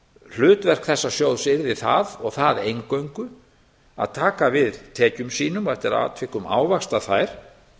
hlutverk þessa sjóðs yrði það og það eingöngu að taka við tekjum sínum og eftir atvikum ávaxta þær